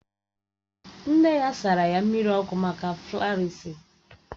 Nne ya sara mmiri ọkụ maka flarịasis